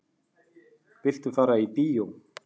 Viltu fara í bíó?